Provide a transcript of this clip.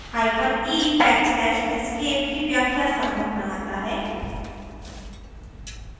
e backslash escape की व्याश्या संभव बनाता है